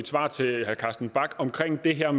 er